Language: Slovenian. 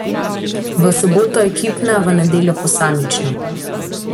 V soboto ekipna, v nedeljo še posamična.